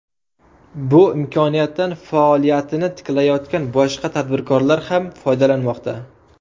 Bu imkoniyatdan faoliyatini tiklayotgan boshqa tadbirkorlar ham foydalanmoqda.